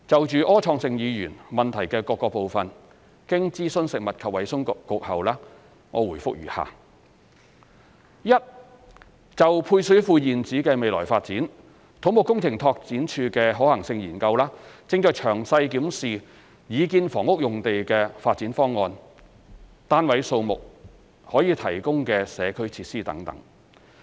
就柯創盛議員質詢的各部分，經諮詢食物及衞生局後，我答覆如下：一就配水庫現址的未來發展，土木工程拓展署的可行性研究正詳細檢視擬建房屋用地的發展方案、單位數目和可提供的社區設施等。